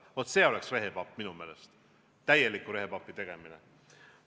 Vot see oleks minu meelest rehepaplus, täielik rehepapi tegemine.